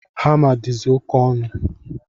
Hama dizi oke onu